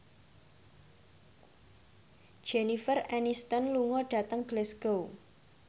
Jennifer Aniston lunga dhateng Glasgow